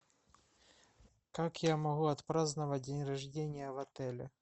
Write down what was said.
как я могу отпраздновать день рождения в отеле